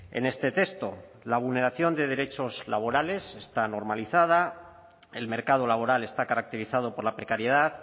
en este texto la vulneración de derechos laborales está normalizada el mercado laboral está caracterizado por la precariedad